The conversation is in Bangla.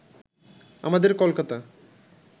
আমাদের কলকাতা